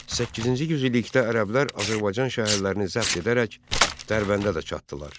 Səkkizinci yüz illikdə ərəblər Azərbaycan şəhərlərini zəbt edərək Dərbəndə də çatdılar.